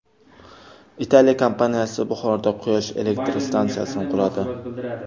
Italiya kompaniyasi Buxoroda quyosh elektr stansiyasini quradi.